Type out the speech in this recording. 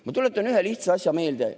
Ma tuletan ühe lihtsa asja meelde.